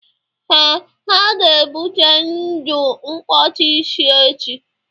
Ee, ha ga ebute udu nkwocha ise echi